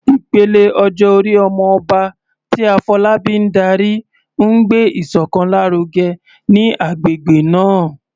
Ìpele ọjọ́ orí "Omo Oba," tí Afolabi ń darí, ń gbé ìṣọ̀kan lárugẹ ní agbègbè náà.